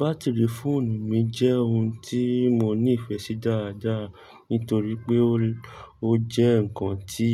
Batiri fóònù mi jẹ́ ohun tí mo ní ìfẹ́ sí dáadáa nítorí pé ó jẹ́ ǹkan tí